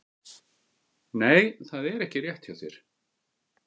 Nei, það er ekki rétt hjá þér!